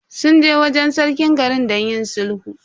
Sun je wajen Sarkin garin don yin sulhu.